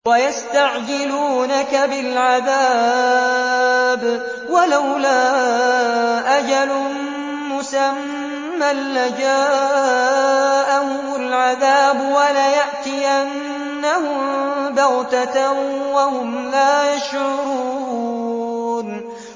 وَيَسْتَعْجِلُونَكَ بِالْعَذَابِ ۚ وَلَوْلَا أَجَلٌ مُّسَمًّى لَّجَاءَهُمُ الْعَذَابُ وَلَيَأْتِيَنَّهُم بَغْتَةً وَهُمْ لَا يَشْعُرُونَ